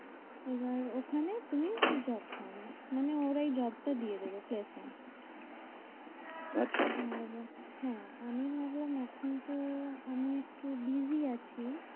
এবার ওখানে তুই job পাবি মানে ওরাই job টা দিয়ে দেবে শেষমেষ। আচ্ছা? হ্যাঁ আমি ভাবলাম এখন তো আমি একটু busy আছি।